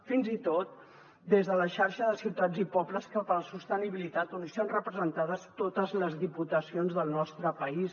fins i tot de la xarxa de ciutats i pobles per a la sostenibilitat on hi són representades totes les diputacions del nostre país